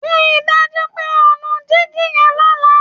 Rí i dájú pé ó nu digi yẹn lọ́la!